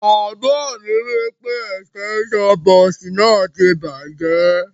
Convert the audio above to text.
Bàbá mi wipe extension box náà ti bàjẹ́